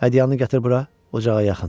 Hədiyyanı gətir bura, ocağa yaxın.